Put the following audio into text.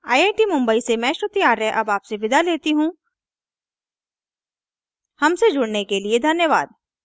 I I T Mumbai से मैं श्रुति आर्य अब आपसे विदा लेती हूँ हमसे जुड़ने के लिए धन्यवाद